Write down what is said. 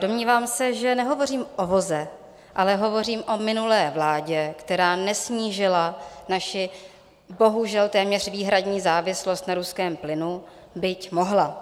Domnívám se, že nehovořím o voze, ale hovořím o minulé vládě, která nesnížila naši bohužel téměř výhradní závislost na ruském plynu, byť mohla.